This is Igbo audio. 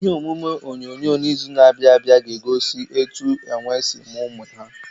Ihe omume onyonyo n'izu na-abịa ga-egosi etu enwe si mụọ ụmụ ha.